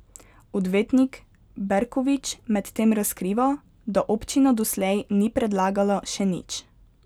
Odvetnik Berkovič medtem razkriva, da občina doslej ni predlagala še nič.